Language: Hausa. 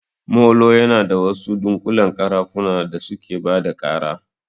Molo yana da wasu dunƙullen ƙarafuna da suke bada ƙara